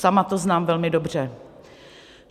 Sama to znám velmi dobře.